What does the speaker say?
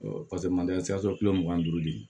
paseke maliyɛn siyɛn sɔrɔ kile mugan ni duuru de ye